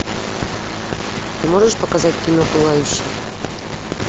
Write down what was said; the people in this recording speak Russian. ты можешь показать кино пылающий